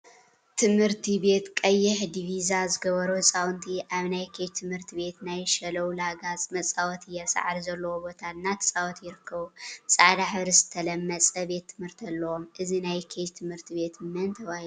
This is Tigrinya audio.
ትምህርቲ ቤት ቀይሕ ዲቪዛ ዝገበሩ ህፃውንቲ አብ ናይ ኬጅ ትምህርቲ ቤት ናይ ሸለው ላጋ መፃወቲ አብ ሳዕሪ ዘለዎ ቦታ እናተፃወቱ ይርከቡ፡፡ ብፃዕዳ ሕብሪ ዝተለመፀ ቤት ትምህርቲ አለዎም፡፡ እዚ ናይ ኬጅ ትምህርቲ ቤት መን ተባሂሉ ይፍለጥ?